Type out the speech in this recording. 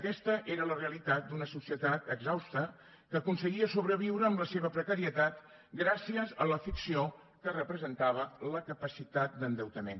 aquesta era la realitat d’una societat exhausta que aconseguia sobreviure amb la seva precarietat gràcies a la ficció que representava la capacitat d’endeutament